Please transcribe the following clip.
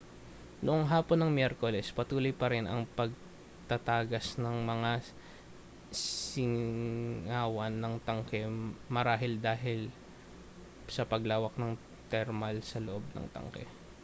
noong hapon ng miyerkules patuloy parin ang pagtatagas ng mga singawan ng tanke marahil dahil sa paglawak na termal sa loob ng tanke